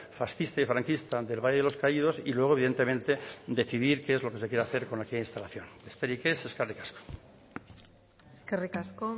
fascista y franquista del valle de los caído y luego evidentemente decidir qué es lo que se quiere hacer con aquella instalación besterik ez eskerrik asko eskerrik asko